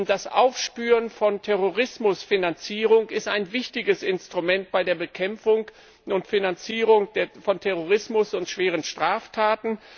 Das Aufspüren von Terrorismusfinanzierung ist ein wichtiges Instrument bei der Bekämpfung und Finanzierung von Terrorismus und schweren Straftaten.